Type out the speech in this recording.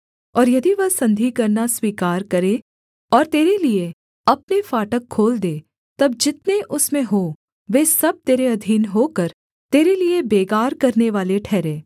और यदि वह संधि करना स्वीकार करे और तेरे लिये अपने फाटक खोल दे तब जितने उसमें हों वे सब तेरे अधीन होकर तेरे लिये बेगार करनेवाले ठहरें